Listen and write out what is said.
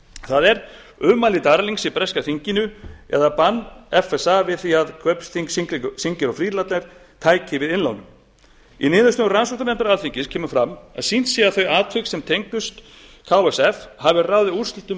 það er ummæli darlings í breska þinginu eða bann fsa við því að ksf tæki við nýjum innlánum í niðurstöðum rannsóknarnefndar alþingis kemur fram að sýnt sé að atvik þau sem tengdust ksf hafi ráðið úrslitum um